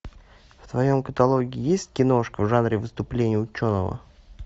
в твоем каталоге есть киношка в жанре выступление ученого